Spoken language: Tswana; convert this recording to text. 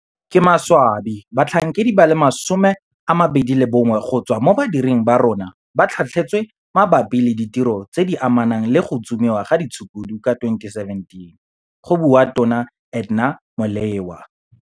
Ka maswabi batlhankedi ba le 21 go tswa mo badiring ba rona ba tlhatlhetswe mabapi le ditiro tse di amanang le go tsomiwa ga ditshukudu ka 2017, go bua Tona Edna Molewa.